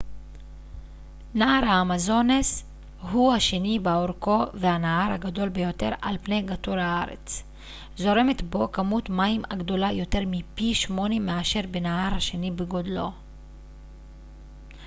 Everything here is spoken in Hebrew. נהר האמזונס הוא השני באורכו והנהר הגדול ביותר על פני כדור הארץ זורמת בו כמות מים הגדולה יותר מפי 8 מאשר בנהר השני בגודלו